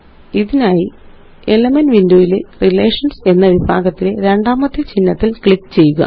ഇതിനായിElements windowയിലെRelations എന്ന വിഭാഗത്തിലെ രണ്ടാമത്തെ ചിഹ്നത്തില് ക്ലിക്ക് ചെയ്യുക